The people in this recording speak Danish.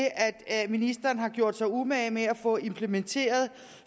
ministeren har gjort sig umage med at få implementeret